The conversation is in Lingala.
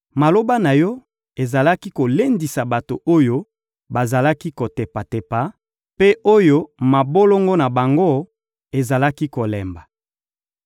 Maloba na yo ezalaki kolendisa bato oyo bazalaki kotepatepa, mpe oyo mabolongo na bango ezalaki kolemba.